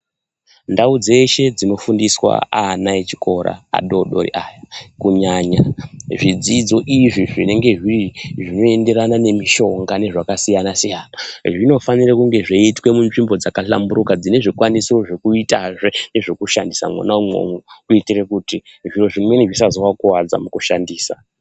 Ndau dzeshe dzinofundiswa ana echikora vadoodori aya kunyanya zvidzidzo izvi zvinenge zviri zvinoenderana nemishonga nezvakasiyana siyana zvinofanire kunge zveiitwe munzvimbo dzakahlamburuka, dzinezvikwanisiro zvekuitazve nezvekushandisa mona umwomo kuitira kuti zviro zvimweni zvisazowakuwadza mukushandisa.